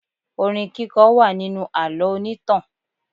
Orin kíkọ wà nínú àlọ́ onítàn.